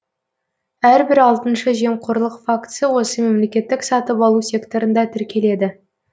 әрбір алтыншы жемқорлық фактісі осы мемлекеттік сатып алу секторында тіркеледі